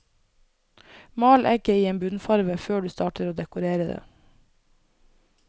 Mal egget i en bunnfarve før du starter å dekorere det.